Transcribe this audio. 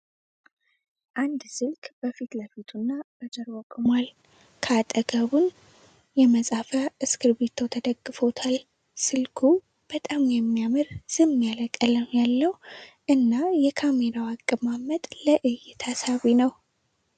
አንድ ስልክ በፊት ለፊቱ እና በጀርባው ቆሟል ከአጠገቡን የመጻፊያ እስክርቢቲው ተደግፎታል። ስልኩ በጣም የሚያምር ዝም ያለ ቀለም ያለው እና የካሜራው አቀማመጥ ለእይታ ሳቢ ነው።